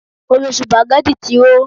Omi supagẹ́tì ti hó.